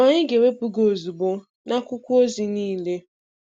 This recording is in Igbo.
anyị ga-ewepụ gị ozugbo na akwụkwọ ozi niile